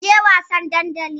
Kin je wasan dandali?